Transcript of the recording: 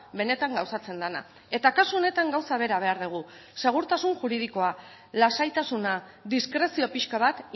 benetan gauzatzen dena eta kasu honetan gauza bera behar dugu segurtasun juridikoa lasaitasuna diskrezio pixka bat